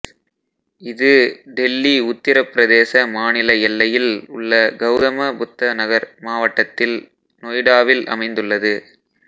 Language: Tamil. இது டெல்லி உத்தரப்பிரதேச மாநில எல்லையில் உள்ள கௌதம புத்த நகர் மாவட்டத்தில் நொய்டாவில் அமைந்துள்ளது